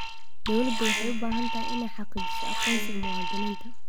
Dawladdu waxay u baahan tahay inay xaqiijiso aqoonsiga muwaadiniinta.